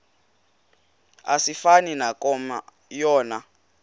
asifani nankomo yona